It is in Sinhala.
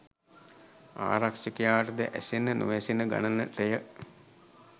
ආරක්‍ෂකයාටද ඇසෙන නොඇසෙන ගණනටය.